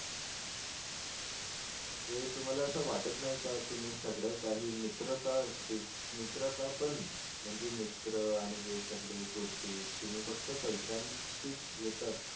म्हणजे तुम्हला असं वाट नाही का तुम्ही सगळं काही मित्रता मित्रता पण म्हणजे मित्र आणि हे सगळे गोष्टी तुम्ही फक्त पैशाशी येतात